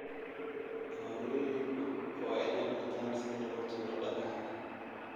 Hooyooyinku waa inay bartaan sida loo tuuro dhagaxa